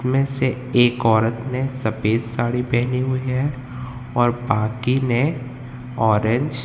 में से एक औरत ने सफेद साड़ी पहनी हुई है और बाकी ने ऑरेंज --